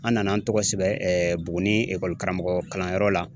An nana an tɔgɔ sɛbɛn Buguni karamɔgɔ kalanyɔrɔ la